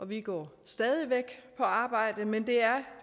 vi går stadig væk på arbejde men det er